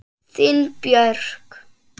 Þín Björk.